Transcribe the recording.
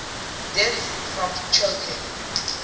deaths from choking